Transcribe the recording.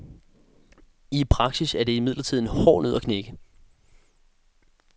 I praksis er det imidlertid en hård nød at knække.